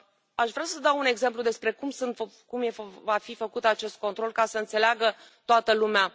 Aș vrea să dau un exemplu despre cum va fi făcut acest control, ca să înțeleagă toată lumea.